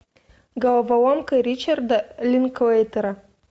головоломка ричарда линклейтера